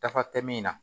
Dafa tɛ min na